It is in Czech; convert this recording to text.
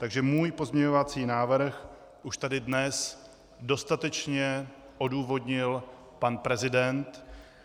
Takže můj pozměňovací návrh už tady dnes dostatečně odůvodnil pan prezident.